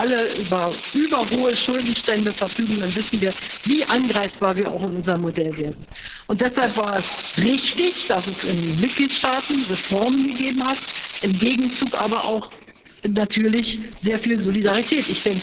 Und wenn wir alle über übermäßig hohe Schuldenstände verfügen, dann wissen wir, wie angreifbar wir auch in unserem Modell werden. Deshalb war es richtig, dass es in den Mitgliedstaaten Reformen gegeben hat, im Gegenzug aber auch natürlich sehr viel Solidarität.